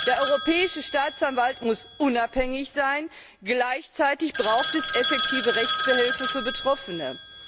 Der Europäische Staatsanwalt muss unabhängig sein. Gleichzeitig braucht es effektive Rechtsbehelfe für Betroffene.